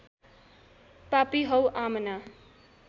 पापी हौ आमना